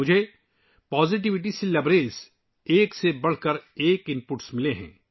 مجھے مثبتیت سے بھرے ایک سے بڑھ کر ایک اِن پُٹ ملے ہیں